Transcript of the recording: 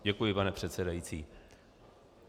Děkuji, pane předsedající.